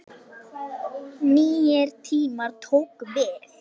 Nýir tímar tóku við.